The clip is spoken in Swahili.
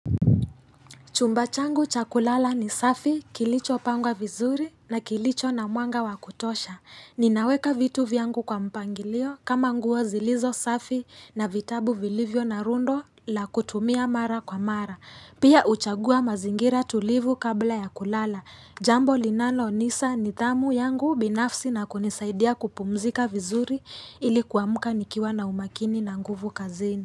Chumba changu cha kulala ni safi kilichopangwa vizuri na kilicho na mwanga wa kutosha. Ninaweka vitu vyangu kwa mpangilio kama nguo zilizo safi na vitabu vilivyo na rundo la kutumia mara kwa mara. Pia huchagua mazingira tulivu kabla ya kulala. Jambo linalonisa nidhamu yangu binafsi na kunisaidia kupumzika vizuri ili kuamka nikiwa na umakini na nguvu kazini.